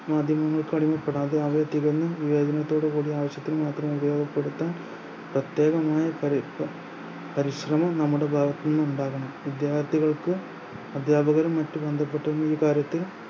മാധ്യമങ്ങൾ പെടാതെ അവയെ തികഞ്ഞും വിവേചനത്തോടുകൂടി ആവശ്യത്തിനു മാത്രം ഉപയോഗപ്പെടുത്താൻ പരിശ്രമം നമ്മുടെ ഭാഗത്തുനിന്നും ഉണ്ടാവണം വിദ്യാർത്ഥികൾക്ക് അധ്യാപകരെയും മറ്റും ബന്ധപ്പെട്ട് ഈ കാര്യത്തിൽ